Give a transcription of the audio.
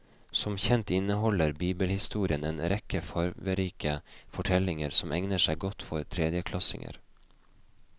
Som kjent inneholder bibelhistorien en rekke farverike fortellinger som egner seg godt for tredjeklassinger.